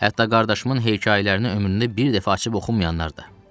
Hətta qardaşımın hekayələrini ömründə bir dəfə açıb oxumayanlar da.